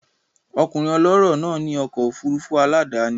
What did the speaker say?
Ọkùnrin ọlọ́rọ̀ náà ní ọkọ̀ òfurufú aládàáni